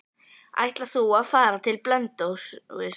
Ætlar þú að fara til Blönduóss?